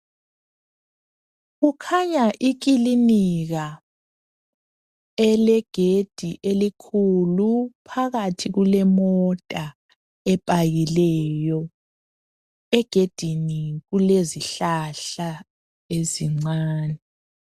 Kukhanya ikilinika elegedi elikhulu phakathi kulemota epakileyo egedini kulezihlahla ezincane.